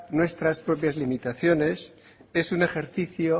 nuestras propias limitaciones es un ejercicio